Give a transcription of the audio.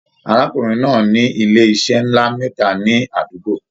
Arákùnrin náà ní ilé iṣẹ nlá mẹta ní àdúgbò.